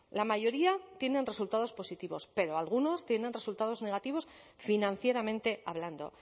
la mayoría tienen resultados positivos pero algunos tienen resultados negativos financieramente hablando